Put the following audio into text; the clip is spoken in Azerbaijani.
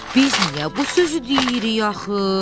Biz niyə bu sözü deyirik axı?